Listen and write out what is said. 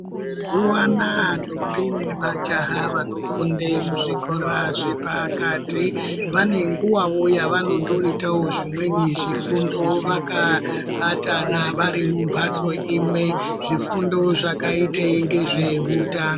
Mazuwa anaa ndombi nemajaha wanofunde muzvikora zvepakati wane nguwawo yawanondotoitawo zvimweni zvifundo wakabatana wari mumbatso imwe, zvifundo zvakaite ndezve hutano.